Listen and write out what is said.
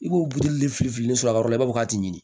I b'o birili fili sɔrɔ yɔrɔ b'a fɔ k'a t'i ɲini